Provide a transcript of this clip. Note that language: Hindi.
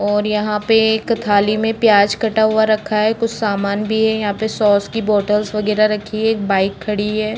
और यहाँ पे एक थाली में प्याज कटा हुआ रखा है कुछ सामान भी है। यहाँ पे सॉस की बाॅटल वगैरह रखी है। एक बाइक खड़ी है।